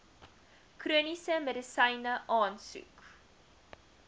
chroniese medisyne aansoek